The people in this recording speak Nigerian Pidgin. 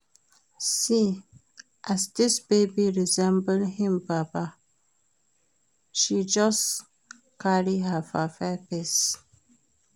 See as dis baby resemble im papa, she just carry her papa face.